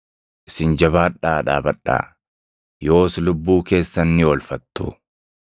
Isin jabaadhaa dhaabadhaa; yoos lubbuu keessan ni oolfattu.